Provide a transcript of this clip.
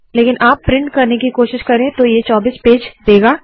लेकिन आप प्रिंट करने की कोशिश करे तो ये 24 पेज देगा